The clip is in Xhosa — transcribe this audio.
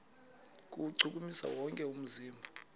kuwuchukumisa wonke umzimba